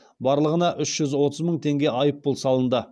барлығына үш жүз отыз мың теңге айыппұл салынды